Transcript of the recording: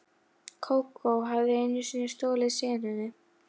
Kókó hafði einu sinni stolið senunni.